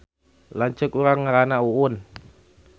Lanceuk urang ngaranna Uun